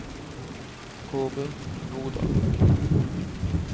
Kaare Nordal